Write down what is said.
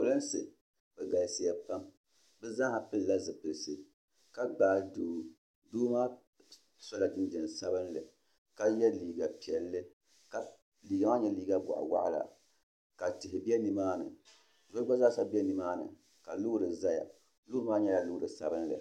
pelinsi bɛ galisiya pam bɛ zaaha pɛlila zipɛlisi ka gbaai doo doo maa sɔla jinjem sabinli ka yɛ liiga piɛlli ka liiga maa nye liiga boɣiwɔɣ'la ka tihi bɛ nimaani so gba zaa sa be nimaan ka loori zaya loori maa nyɛla loori sabinli